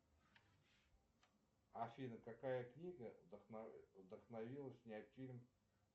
афина какая книга вдохновила снять фильм